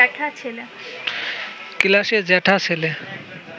ক্লাসের জ্যাঠা ছেলে